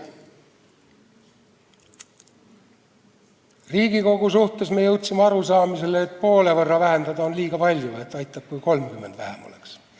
Riigikogu suhtes me jõudsime arusaamale, et poole võrra vähendada on liiga palju, aitab, kui 30 liiget vähem oleks.